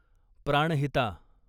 Pranhita